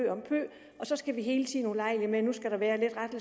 og så skal vi hele tiden ulejlige med ny